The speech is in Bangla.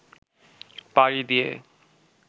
পাড়ি দিয়ে